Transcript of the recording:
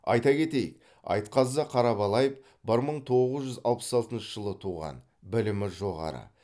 айта кетейік айтқазы қарабалаев бір мың тоғыз жүз алпыс алтыншы жылы туған білімі жоғары